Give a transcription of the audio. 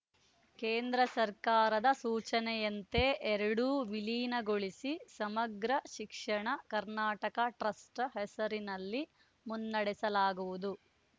ಕೇಂದ್ರ ಸರ್ಕಾರದ ಸೂಚನೆಯಂತೆ ಎರಡೂ ವಿಲೀನಗೊಳಿಸಿ ಸಮಗ್ರ ಶಿಕ್ಷಣ ಕರ್ನಾಟಕ ಟ್ರಸ್ಟ್‌ ಹೆಸರಿನಲ್ಲಿ ಮುನ್ನಡೆಸಲಾಗುವುದು